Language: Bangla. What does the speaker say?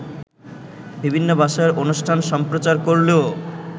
বিভিন্ন ভাষায় অনুষ্ঠান সম্প্রচার করলেও